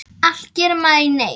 Allt gerir maður í neyð.